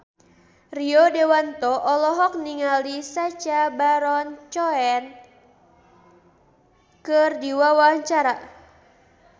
Rio Dewanto olohok ningali Sacha Baron Cohen keur diwawancara